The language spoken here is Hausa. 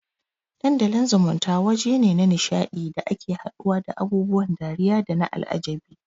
Dandalin zumunta wajene na nisha ɗi da ake haduwa da abubuwan dariya dana al'ajabi